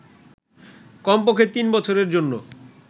কমপক্ষে তিন বছরের জন্য